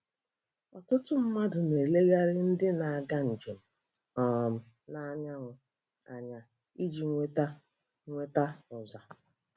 Ọtụtụ mmadụ na-elegara ndị na-aga njem um n'anyanwụ anya iji nweta nweta ụza.